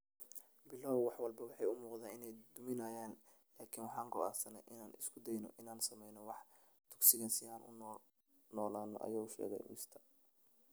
Bilowgii, wax walba waxay u muuqdeen inay duminayaan, laakiin "waxaan go'aansanay inaan isku dayno inaan sameyno wax [dugsiga] si aan u noolaanno," ayuu sheegay Mr.